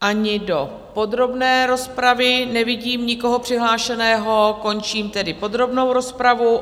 Ani do podrobné rozpravy nevidím nikoho přihlášeného, končím tedy podrobnou rozpravu.